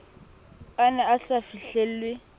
a ne a sa fihlelwe